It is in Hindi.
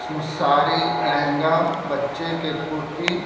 इसमें सारी लहंगा बच्चे की कुर्ती --